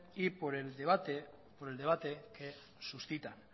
y por el debate que suscita